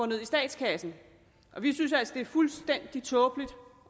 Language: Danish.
ned i statskassen vi synes altså at det er fuldstændig tåbeligt